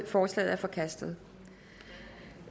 forslaget er forkastet